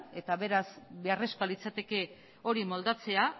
eta beraz beharrezkoa litzateke hori moldatzea